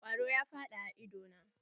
Kwaro ya faɗa a ido na.